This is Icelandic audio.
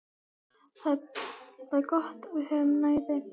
Það er gott að við höfum næði.